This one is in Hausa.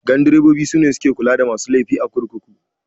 Gandurobobi sune suke kula da masu laifi a kurkuku